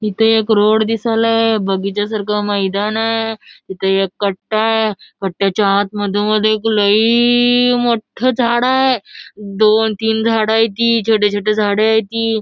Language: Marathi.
इथ एक रोड दिसायलाय बगीच्या सारख मैदान हाय इथ एक कट्टाय कट्ट्याच्या आत मधोमध एक लई मोट्ठ झाड हाय. दोन तीन झाड हायती छोटी छोटी झाड हाय ती.